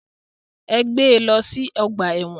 Ẹ gbé lọ sí ọgbà ẹ̀wọ̀n.